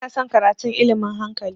Ba na son karatun ilmin hankali